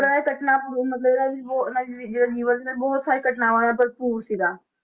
ਪਰ ਇਹ ਘਟਨਾ ਭਰਪੂਰ ਮਤਲਬ ਉਹਨਾਂ ਜੀ ਦੀ ਜਿਹੜਾ ਜੀਵਨ ਬਹੁਤ ਸਾਰੀ ਘਟਨਾਵਾਂ ਨਾਲ ਭਰਪੂਰ ਸੀਗਾ,